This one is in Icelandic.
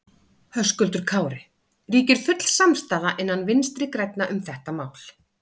Höskuldur Kári: Ríkir full samstaða innan Vinstri grænna um þetta mál?